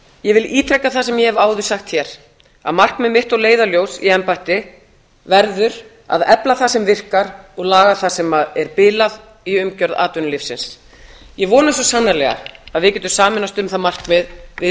ég vil ítreka það sem ég hef áður sagt hér að markmið mitt og leiðarljós í embætti verður að efla það sem virkar og laga það sem er bilað í umgjörð atvinnulífsins ég vona svo sannarlega að við getum sameinast um það markmið við